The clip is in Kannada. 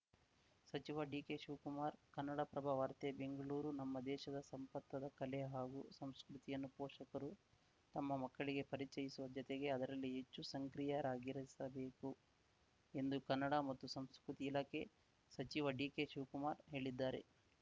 ಸಚಿವ ಡಿಕೆಶಿವಕುಮಾರ್‌ ಕನ್ನಡಪ್ರಭ ವಾರ್ತೆ ಬೆಂಗಳೂರು ನಮ್ಮ ದೇಶದ ಸಂಪತ್ತಾದ ಕಲೆ ಹಾಗೂ ಸಂಸ್ಕೃತಿಯನ್ನು ಪೋಷಕರು ತಮ್ಮ ಮಕ್ಕಳಿಗೆ ಪರಿಚಯಿಸುವ ಜತೆಗೆ ಅದರಲ್ಲಿ ಹೆಚ್ಚು ಸಂಕ್ರಿಯರಾಗಿಸಬೇಕು ಎಂದು ಕನ್ನಡ ಮತ್ತು ಸಂಸ್ಕೃತಿ ಇಲಾಖೆ ಸಚಿವ ಡಿಕೆಶಿವಕುಮಾರ್‌ ಹೇಳಿದ್ದಾರೆ